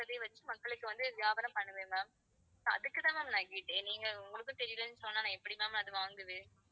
சொல்றத வச்சு மக்களுக்கு வந்து வியாபாரம் பண்ணுவேன் ma'amso அதுக்கு தான் ma'am நான் கேட்டேன். நீங்க உங்களுக்கும் தெரியலன்னு சொன்னா நான் எப்படி ma'am அது வாங்குவேன்